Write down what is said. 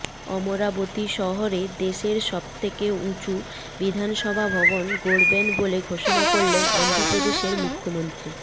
অমরাবতী শহরেদেশের সব থেকে উঁচু বিধানসভা ভবন গড়বেন বলে ঘোষণা করলেন অন্ধ্রপ্রদেশের মু্খ্যমন্ত্রী